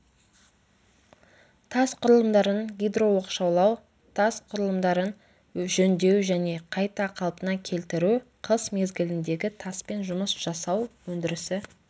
тас құрылымдарын гидрооқшаулау тас құрылымдарын жөндеу және қайта қалпына келтіру қыс мезгіліндегі таспен жұмыс жасау өндірісі